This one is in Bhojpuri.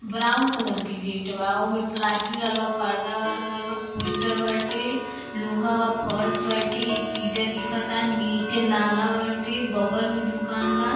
ब्राउन कलर के गेट बा। ओमे प्लास्टिक लागल बा। पर्दा वा लागल बा। पोस्टर बाटे। लोहा बा। फर्श बाटे। एक ईंटा दिखता। नीचे नाला बाटे। बगल में दुकान बा।